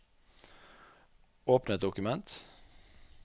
Åpne et dokument